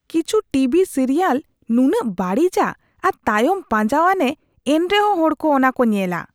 ᱠᱤᱪᱷᱩ TV serial ᱱᱩᱱᱟᱹᱜ ᱵᱟᱹᱲᱤᱡᱟ ᱟᱨ ᱛᱟᱭᱚᱢ ᱯᱟᱸᱡᱟᱣᱟᱱᱼᱟ ᱮᱱᱛᱮᱦᱚᱸ ᱦᱚᱲ ᱠᱚ ᱚᱱᱟ ᱠᱚ ᱧᱮᱞᱟ ᱾